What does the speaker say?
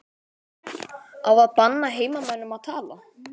Á að banna heimamönnum að tala?